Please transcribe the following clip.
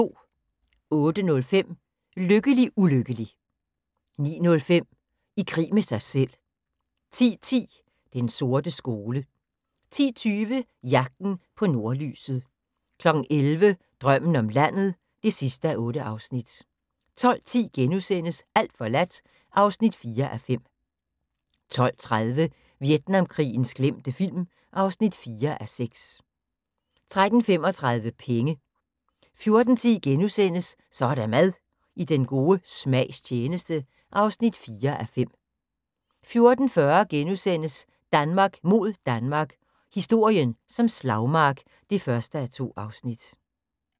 08:05: LykkeligUlykkelig 09:05: I krig med sig selv 10:10: Den sorte skole 10:20: Jagten på nordlyset 11:00: Drømmen om landet (8:8) 12:10: Alt forladt (4:5)* 12:30: Vietnamkrigens glemte film (4:6) 13:35: Penge 14:10: Så er der mad – I den gode smags tjeneste (4:5)* 14:40: Danmark mod Danmark – historien som slagmark (1:2)*